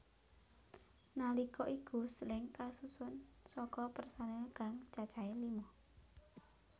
Nalika iku Slank kasusun saka personil kang cacahé lima